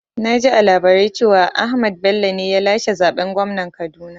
Naji a labarai cewa Ahmad Bello ne ya lashe zaɓen gwamnan Kaduna